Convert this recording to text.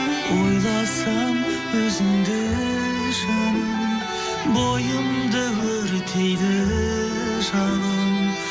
ойласам өзіңді жаным бойымды өртейді жалын